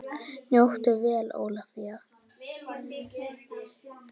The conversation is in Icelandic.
Njóttu vel Ólafía!